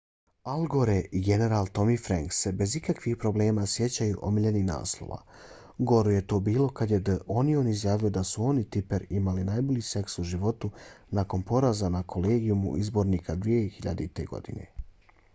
al gore i general tommy franks se bez ikakvih problema sjećaju omiljenih naslova goru je to bilo kad je the onion izjavio da su on i tipper imali najbolji seks u životu nakon poraza na kolegijumu izbornika 2000. godine